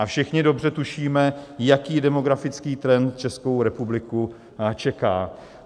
A všichni dobře tušíme, jaký demografický trend Českou republiku čeká.